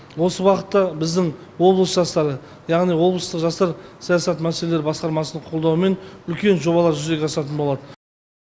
осы бағытта біздің облыс жастары яғни облыстық жастар саясаты мәселелері басқармасының қолдауымен үлкен жобалар жүзеге асатын болады